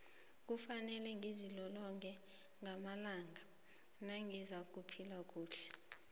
kufanele ngizilolonge ngamalanga nangizakuphila kuhle